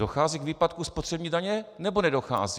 Dochází k výpadku spotřební daně, nebo nedochází?